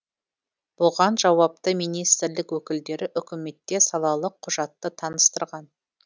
бұған жауапты министрлік өкілдері үкіметте салалық құжатты таныстырған